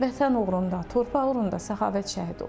Vətən uğrunda, torpaq uğrunda Səxavət şəhid oldu.